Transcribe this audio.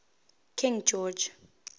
king george